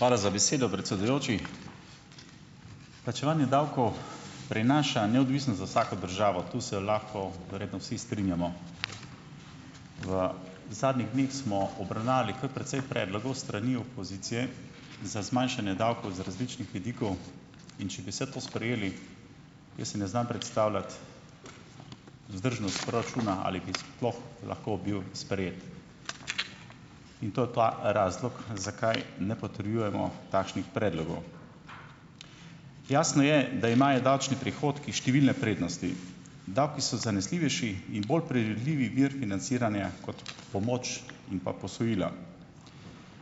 Hvala za besedo, predsedujoči. Plačevanje davkov prinaša neodvisno za vsako državo tu se lahko verjetno vsi strinjamo. V zadnjih dneh smo obravnavali kar precej predlogov s strani opozicije za zmanjšanje davkov z različnih vidikov, in če bi vse to sprejeli, jaz si ne znam predstavljati vzdržnost proračuna ali bi sploh lahko bil sprejet in to je ta razlog zakaj ne potrjujemo takšnih predlogov. Jasno je, da imajo davčni prihodki številne prednosti. Davki so zanesljivejši in bolj priredljivi vir financiranja kot pomoč in pa posojila.